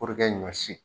ɲɔ si